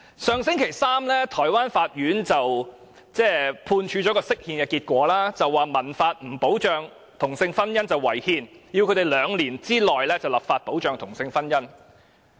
上星期三，台灣法院公布了就釋憲的判決結果，指民法不保障同性婚姻是違憲，要有關當局在兩年內立法保障同性婚姻。